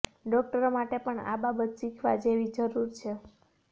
ડોક્ટરો માટે પણ આ બાબત શીખવા જેવી જરૂર છે